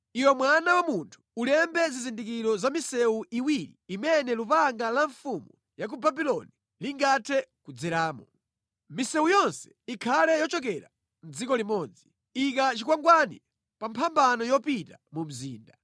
“Iwe mwana wa munthu, ulembe zizindikiro za misewu iwiri imene lupanga la mfumu ya ku Babuloni lingathe kudzeramo. Misewu yonse ikhale yochokera mʼdziko limodzi. Ika chikwangwani pa mphambano yopita mu mzinda.